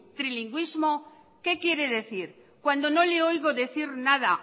trilingüismo qué quiere decir cuándo no le oigo decir nada